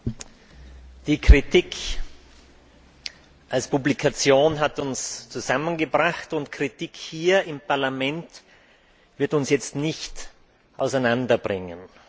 Herr Präsident! Die Kritik als Publikation hat uns zusammen gebracht, und Kritik hier im Parlament wird uns jetzt nicht auseinander bringen.